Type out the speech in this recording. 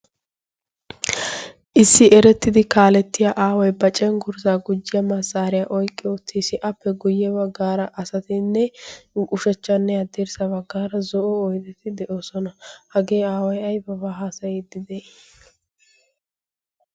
issi erettidi kaalettiya aaway ba cen kurisaa gujyiya massaariyaa oiqqi oottiis appe guyye baggaara asatinne qushachchanne addirssa baggaara zo'o oidettii de'oosona. hagee aaway aybaa haasayiiddi de'ii?